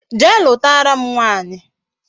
Jee lutara m nwaanyi